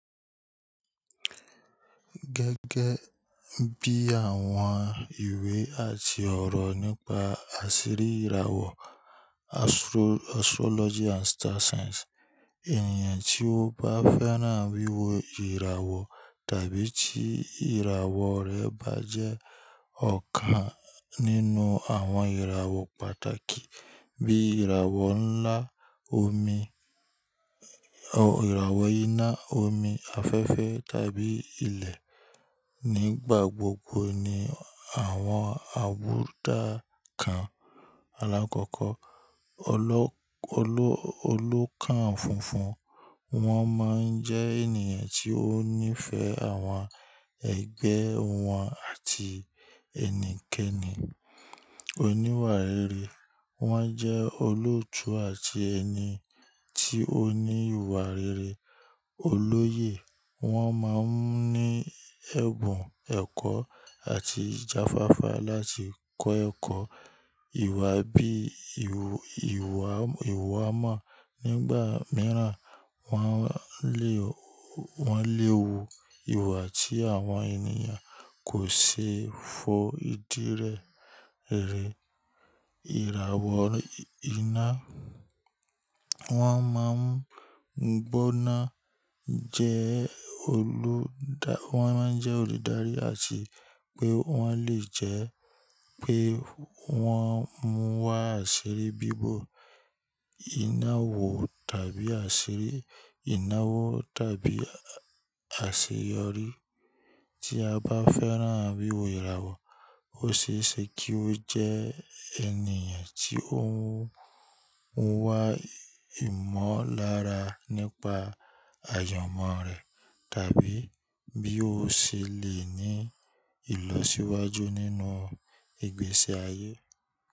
Gẹ́gẹ́ bí àwọn ìwé àti ọ̀rọ̀ nípa àṣírí ìràwọ̀ Astrology and Star Signs, ènìyàn tí ó bá fẹ́ràn wíwo ìràwọ̀ tàbí tí ìràwọ̀ rẹ̀ bá jẹ́ ọ̀kan nínú àwọn ìràwọ̀ pàtàkì bí ìràwọ̀ ńlá omi, ìràwọ̀ iná, omi afẹ́fẹ́ tàbí ilẹ̀, nígbà gbogbo ni àwọn àbùdá kan alákọ̀ọ́kọ́. Oló-- Oló-- Olóòkàn funfun, wọ́n máa ń jẹ́ ènìyàn tí ó nífẹ̀ẹ́ àwọn ẹgbẹ́ wọn àti ẹnikẹ́ni. Oníwà rere, wọ́n jẹ́ olóòtú àti ẹni tí ó ní ìwà rere. Olóye, wọ́n máa ń ní ẹ̀bùn ẹ̀kọ́ àti ìjáfáfá láti kọ́ ẹ̀kọ́. Ìwà bí ìwà-- ìwà mọ́, nígbà mìíràn wọ́n le wo ìwà tí àwọn ènìyàn kò ṣeé fo ìdí rẹ̀. Ìràwọ̀ iná, wọ́n máa ń gbọ́nà jẹ́ olùdárí àti pé wọ́n lè jẹ́ pé wọ́n mú wá àṣírí bíbọ iná wò tàbí àṣírí iná wò tàbí àṣeyori. Tí a bá fẹ́ràn wíwo ìràwọ̀, ó ṣe é ṣe kí ó jẹ́ ènìyàn tí ó ń mú wá ìmọ̀lára nípa àyamon rẹ̀ tàbí bí ó ṣe le ní ìlọsíwájú nínú ìgbésí ayé.